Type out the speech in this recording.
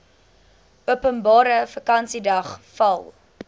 openbare vakansiedag val